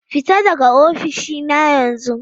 Fita daga ofishina yanzu!